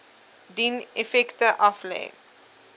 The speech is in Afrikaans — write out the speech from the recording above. dien effekte aflê